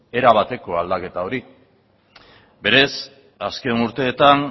erabateko aldaketa hori berez azken urteetan